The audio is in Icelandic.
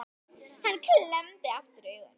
Hann klemmdi aftur augun